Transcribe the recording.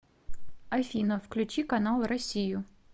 афина включи канал россию